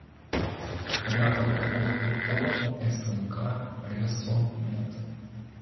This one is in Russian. рядом ооо смк ресо мед